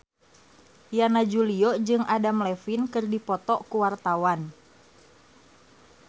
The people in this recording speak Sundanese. Yana Julio jeung Adam Levine keur dipoto ku wartawan